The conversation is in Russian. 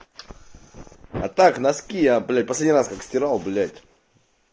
а так носки я блять последний раз как растирал блять